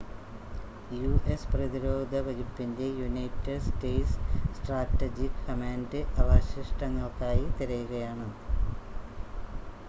US പ്രതിരോധ വകുപ്പിൻ്റെ United States Strategic Command അവശിഷ്‌ടങ്ങൾക്കായി തിരയുകയാണ്